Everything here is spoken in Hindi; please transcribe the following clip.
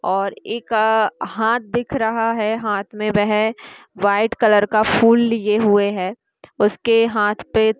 और एक अ- हाथ दिख रहा है। हाथ में वह व्हाइट कलर का फूल लिए हुए है उसके हाथ पे --